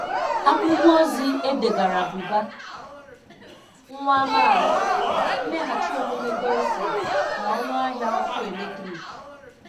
Akwụkwọ ozi e degaara Buba nwa amaala: mmeghachi omume dousing na ọnụahịa ọkụ eletrik